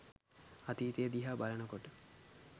අතීතය දිහා බලන කොට